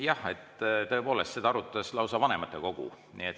Jah, tõepoolest, seda arutas lausa vanematekogu.